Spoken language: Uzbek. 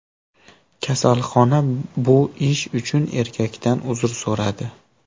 Kasalxona bu ish uchun erkakdan uzr so‘radi.